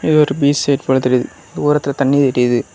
இது ஒரு beach side போல தெரியுது. தூரத்துல தண்ணி தெரியுது.